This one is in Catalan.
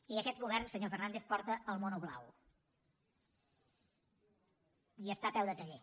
i aquest govern senyor fernàndez porta el mono blau i està a peu de taller